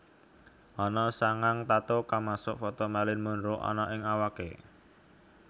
Ana sangang tattoo kamasuk foto Marilyn Monroe anna ning awaké